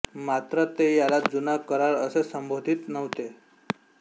मात्र ते याला जुना करार असे संबोधित नव्हते